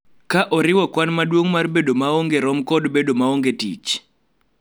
Ka oriwo kwan maduong� mar bedo maonge rom kod bedo maonge tich,